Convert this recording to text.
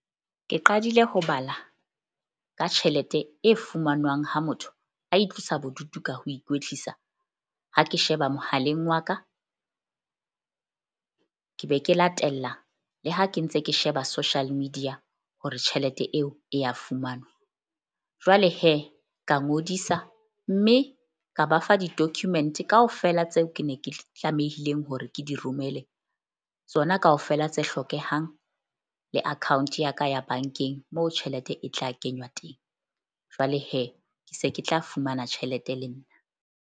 Ke qadile ho bala ka tjhelete e fumanwang ha motho a itlosa bodutu ka ho ikwetlisa. Ha ke sheba mohaleng wa ka , ke be ke latella, le ha ke ntse ke sheba social media hore tjhelete eo e ya fumanwa. Jwale ka ngodisa mme ka ba fa di-document kaofela tseo ke ne ke tlamehileng hore ke di romele tsona kaofela tse hlokehang le account ya ka ya bank-eng, moo tjhelete e tla kenywa teng. Jwale ke se ke tla fumana tjhelete le nna.